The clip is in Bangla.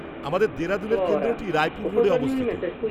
আমাদের দেরাদুনের কেন্দ্রটি রায়পুর রোডে অবস্থিত।